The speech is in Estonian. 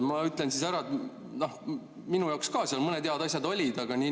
Ma ütlen ära, et ka minu jaoks seal mõned head asjad olid.